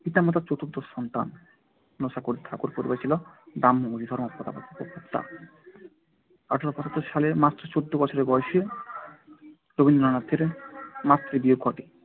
পিতামাতার চতুর্দশ সন্তান। জোড়াসাঁকোর ঠাকুর পরিবার ছিল ব্রাহ্ম আদিধর্ম মতবাদের প্রবক্তা। আঠারোশো পঁচাত্তর সালে মাত্র চোদ্দ বছর বয়সে রবীন্দ্রনাথের মাতৃবিয়োগ ঘটে।